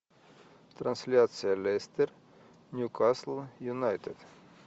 трансляция лестер ньюкасл юнайтед